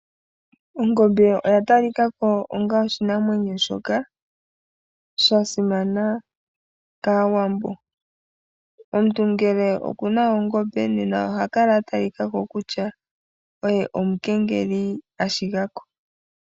Ongombe oya talika ko onga oshinamwenyo shoka sha simana kAawambo. Omuntu ngele oku na oongombe nena oha kala atalika ko kutya oye omukengeli ashigako.